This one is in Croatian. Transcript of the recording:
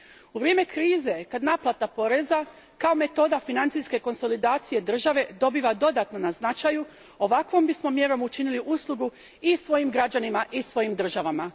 U vrijeme krize, kad naplata poreza kao metoda financijske konsolidacije države dobiva dodatno na značaju, ovakvom bismo mjerom učinili uslugu i svojim građanima i svojim državama.